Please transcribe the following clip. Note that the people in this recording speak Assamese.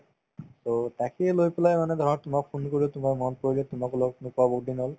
to তাকে লৈ পেলাই মানে ধৰা তোমাক phone কৰিলো তোমাৰ মনত পৰিলে তোমাক লগ নোপোৱা বহুত দিন হল